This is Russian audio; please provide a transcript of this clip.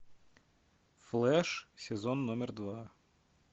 флэш сезон номер два